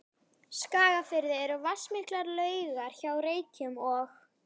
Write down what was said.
Skagafirði eru vatnsmiklar laugar hjá Reykjum og